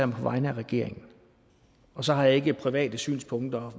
mig på vegne af regeringen og så har jeg ikke private synspunkter